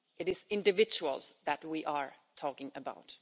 It is individuals that we are talking about.